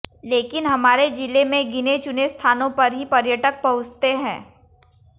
लेकिन हमारे जिले में गिने चुने स्थानों पर ही पर्यटक पहुंचते है